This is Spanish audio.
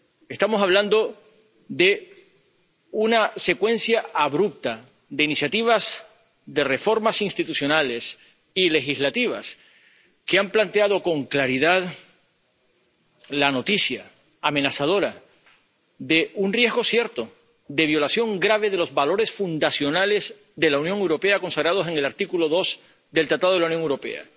Estamos hablando de una secuencia abrupta de iniciativas de reformas institucionales y legislativas, que han planteado con claridad la noticia amenazadora de un riesgo cierto de violación grave de los valores fundacionales de la Unión Europea consagrados en el artículo 2 del Tratado de la Unión Europea.